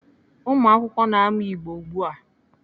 Ụmụakwụkwọ na-amụ Igbo ugbu a.